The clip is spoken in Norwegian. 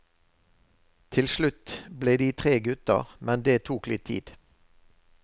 Til slutt ble de tre gutter, men det tok litt tid.